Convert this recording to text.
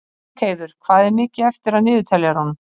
Ingheiður, hvað er mikið eftir af niðurteljaranum?